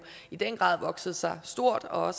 i den grad har vokset sig stort og